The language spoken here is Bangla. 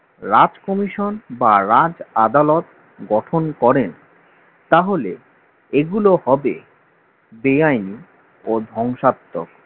রাজ commission বা রাজ আদালত গঠন করেন তাহলে এগুলো হবে বেআইনি ও ধ্বংসাত্মক